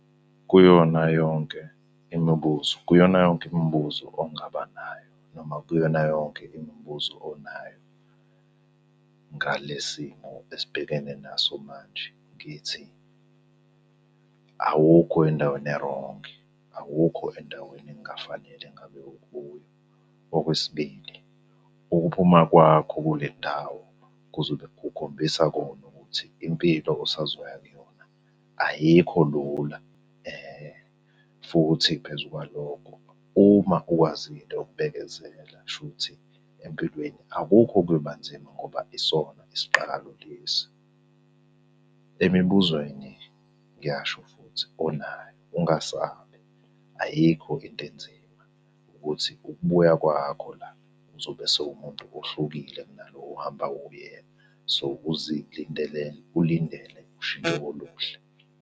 Kuyona yonke imibuzo, kuyona yonke imibuzo ongaba nayo noma kuyona yonke imibuzo onayo ngale simo esibhekene naso manje ngithi, awukho endaweni erongi, awukho endaweni ekungafanele ngabe ukuyo. Okwesibili, ukuphuma kwakho kule ndawo kuzobe kukhombisa kona ukuthi impilo osazoya kuyona ayikho lula futhi phezu kwalokho uma ukwazile ukubekezela kushuthi empilweni akukho okuyoba nzima ngoba isona isiqalo lesi. Emibuzweni ngiyasho futhi onayo ungasabi, ayikho into enzima ukuthi ukubuya kwakho la uzobe sewumuntu ohlukile kunalo ohamba uyena. So, ukuzilindele ulindele ushintsho oluhle.